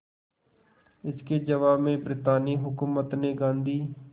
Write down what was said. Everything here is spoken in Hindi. इसके जवाब में ब्रितानी हुकूमत ने गांधी